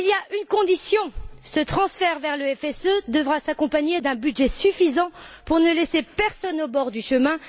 Mais il y a une condition ce transfert vers le FSE devra s'accompagner d'un budget suffisant pour ne laisser personne au bord du chemin.